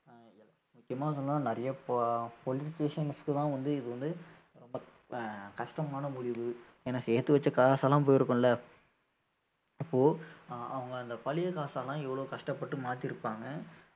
முக்கியமா சொல்லணும்னா நிறைய po~ politicians க்குதான் வந்து இது வந்து ரொம்ப ஆஹ் ரொம்ப கஷ்டமான முடிவு ஏன்னா சேர்த்து வச்ச காசெல்லாம் போயிருக்கும்ல அப்போ ஆஹ் அவங்க அந்த பழைய காசெல்லாம் எவ்வளவு கஷ்டப்பட்டு மாத்தியிருப்பாங்க